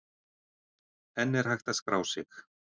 Enn er hægt að skrá sig.